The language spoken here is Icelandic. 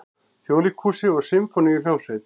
Þjóðleikhúsi og Sinfóníuhljómsveit.